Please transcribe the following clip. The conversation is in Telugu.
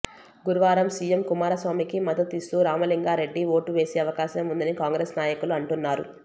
గురువారం సీఎం కుమారస్వామికి మద్దతు ఇస్తూ రామలింగా రెడ్డి ఓటు వేసే అవకాశం ఉందని కాంగ్రెస్ నాయకులు అంటున్నారు